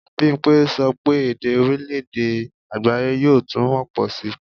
Bimpe sọ pé èdè orílè-èdè àgbááyé yóò túmọ̀ pọ̀ síi